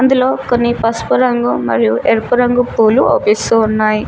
ఇందులో కొన్ని పసుపు రంగు మరియు ఎరుపు రంగు పూలు అవుపిస్తూ ఉన్నాయి.